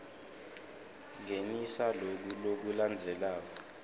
ngenisa loku lokulandzelako